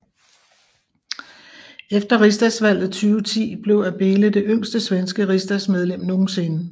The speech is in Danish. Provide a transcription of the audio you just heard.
Efter riksdagsvalget 2010 blev Abele det yngste svenske riksdagsmedlem nogen sinde